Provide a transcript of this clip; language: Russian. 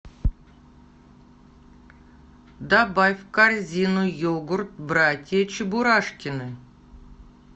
добавь в корзину йогурт братья чебурашкины